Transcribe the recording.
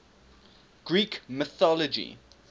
greek mythology